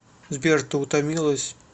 сбер ты утомилась